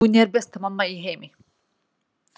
Hún er besta mamma í heimi.